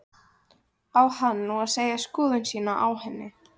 Á hann nú að segja skoðun sína á henni?